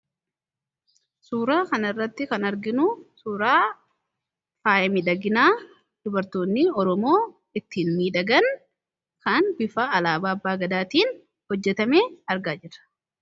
suuraa kan irratti kan arginu suuraa faaya midhaginaa dubartootni oromoo ittiin miidhagan kan bifa alaabaa abbaa gadaatiin hojjetame argaa jirra.